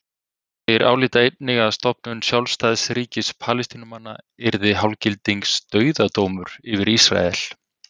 Þeir álíta einnig að stofnun sjálfstæðs ríkis Palestínumanna yrði hálfgildings dauðadómur yfir Ísrael.